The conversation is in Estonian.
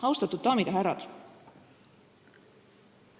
Austatud daamid ja härrad!